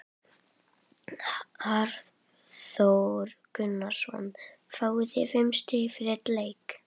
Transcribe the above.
Hafþór Gunnarsson: Fáið þið fimm stig fyrir einn leik?